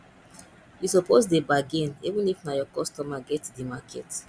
you suppose dey bargain even if na your customer get di market